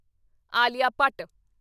Alia Bhatt